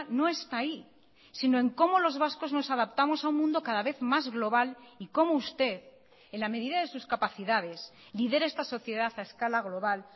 no está ahí si no en como los vascos nos adaptamos a un mundo cada vez más global y como usted en la medida de sus capacidades lidere esta sociedad a escala global